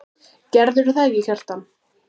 Gerðirðu það ekki, Kjartan?